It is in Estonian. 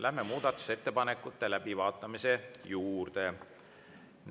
Lähme muudatusettepanekute läbivaatamise juurde.